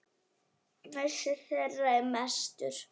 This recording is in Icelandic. Missir þeirra er mestur.